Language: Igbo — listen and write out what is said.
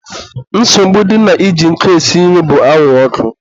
nsogbu dị na iji nkụ esi nri bụ anwụrụ ọkụ.